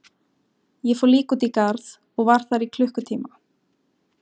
Ég fór líka út í garð og var þar í klukkutíma.